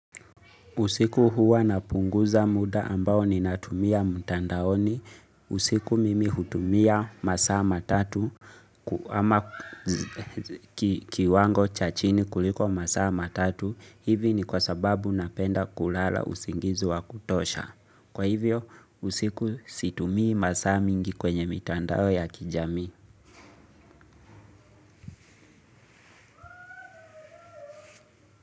Usiku huwa na punguza muda ambao ni natumia mtandaoni, usiku mimi hutumia masaa matatu, ama kiwango cha chini kuliko masaa matatu, hivi ni kwa sababu napenda kulala usingizi wa kutosha. Kwa hivyo, usiku situmii masaa mingi kwenye mitandao ya kijamii.